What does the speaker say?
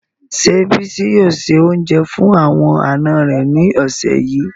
Se Bisi yoo se ounje fun awon ana re ni ose yii